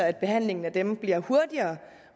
at behandlingen af dem bliver hurtigere